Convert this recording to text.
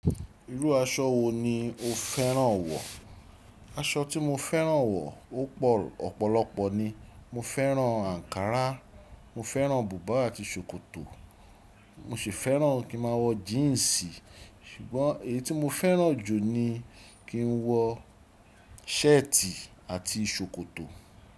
Irú aṣọ wo ni o fẹ́ràn wọ̀? Aṣọ tí mo fẹ́ràn wọ̀, ó pọ̀ ọ̀pọ̀lọpọ̀ ni. Mo fẹ́ràn àǹkárá, mo fẹ́ràn bùbá àti ṣòkòtò. Mo sì fẹ́ràn kí màá wọ jíǹsì ṣùgbọ́n èyí tí mo fẹ́ràn jù ni kí n wọ ṣẹ́ẹ̀tì àti ṣòkòtò.